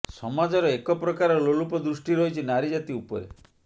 ସମାଜର ଏକ ପ୍ରକାର ଲୋଲୁପ ଦୃଷ୍ଟି ରହିଛି ନାରୀ ଜାତି ଉପରେ